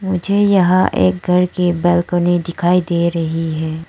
मुझे यहां पर एक घर की बालकनी दिखाई दे रही है।